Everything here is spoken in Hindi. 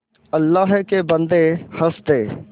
अल्लाह के बन्दे हंस दे